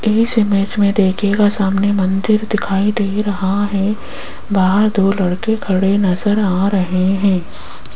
इस इमेज में देखिएगा सामने मंदिर दिखाई दे रहा है बाहर दो लड़के खड़े नजर आ रहे है।